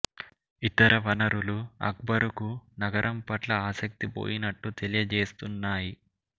ఇతర వనరులు అక్బరుకు నగరం పట్ల ఆసక్తి కోల్పోయినట్లు తెలియజేస్తున్నాయ్యి